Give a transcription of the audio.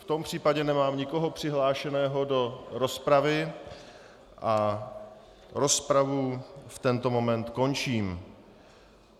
V tom případě nemám nikoho přihlášeného do rozpravy a rozpravu v tento moment končím.